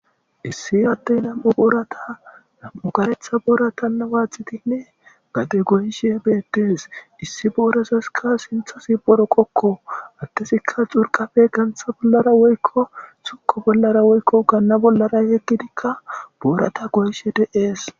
Issi adeyi namu'u karetha boratta waxidi gade goyishe betesi issi borazasi sinithazi boroqokko adezika xuruqafe gana bollara yegiddi boratta goyishe deyesi